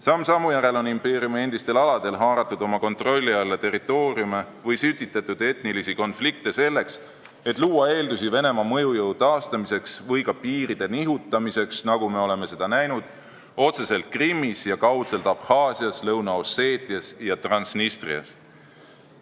Samm sammu järel on impeeriumi endistel aladel haaratud oma kontrolli alla territooriume või sütitatud etnilisi konflikte, selleks et luua eeldusi Venemaa mõjujõu taastamiseks või ka piiride nihutamiseks, nagu me oleme seda otseselt näinud Krimmis ja kaudselt Abhaasias, Lõuna-Osseetias ja Transnistrias.